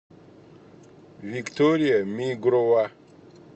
виктория мигрова